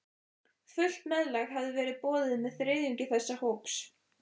Fullt meðlag hafði verið boðið með þriðjungi þess hóps.